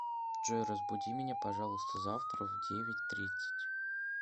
джой разбуди меня пожалуйста завтра в девять тридцать